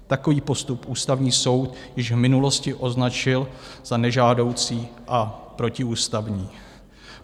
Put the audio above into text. Takový postup Ústavní soud již v minulosti označil za nežádoucí a protiústavní.